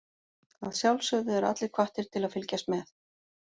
Að sjálfsögðu eru allir hvattir til að fylgjast með.